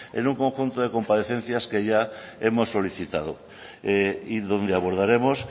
en un conjunto de comparecencias que ya hemos solicitado y donde abordaremos